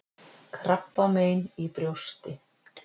KRABBAMEIN Í BRJÓSTI